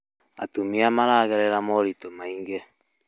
Atumia maragerera moritũ maingĩ